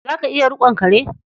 Za ka iya riƙon kare?